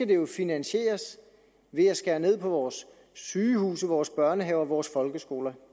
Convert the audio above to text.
det jo finansieres ved at skære ned på vores sygehuse vores børnehaver vores folkeskoler